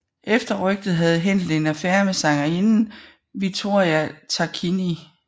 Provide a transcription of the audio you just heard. Efter rygtet havde Händel en affære med sangerinden Vittoria Tarquini